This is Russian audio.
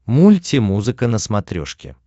мультимузыка на смотрешке